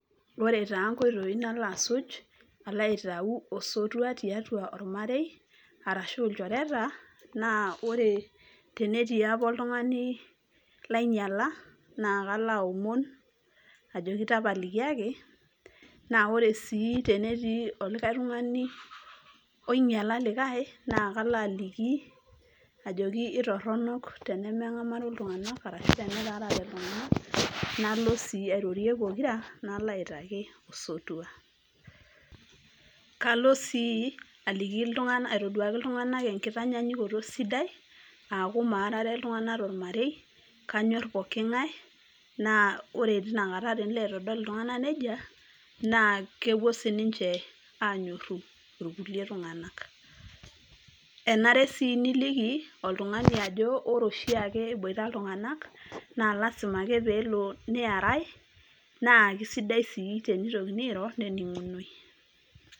Ore taa nkoitoii nalo asuj, alo aitau osotua tiatua ormarei, arashu ilchoreta, naa ore tenetii apa oltung'ani lainyala, na kalo aomon ajoki tapalikiaki, na ore si tenetii olikae tung'ani oinyala likae, naa kalo aliki, ajoki itorronok tenemeng'amaro iltung'anak arashu tenetaarate iltung'anak, nalo si airorie pokira, nalo aitaki osotua. Kalo si aliki aitoduaki iltung'anak enkitanyanyukoto sidai, aku maarare iltung'anak tormarei, kanyor pooking'ae, naa ore tinakata tenilo aitodol iltung'anak aiko nejia, naa kepuo sininche anyorru irkulie tung'anak. Enare si niliki, oltung'ani ajo ore oshiake eboita iltung'anak, na lasima ake pelo neerai, na kisaidia si tenitokini airo, nening'unoi.